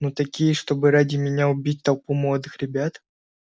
но такие чтобы ради меня убить толпу молодых ребят